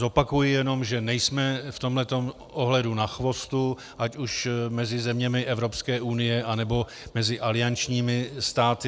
Zopakuji jenom, že nejsme v tomto ohledu na chvostu ať už mezi zeměmi Evropské unie, anebo mezi aliančními státy.